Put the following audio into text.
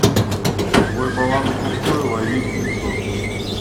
твой баланс пустой лови пятьсот